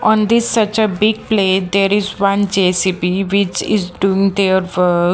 on this such a big place there is one J_C_B which is doing there work.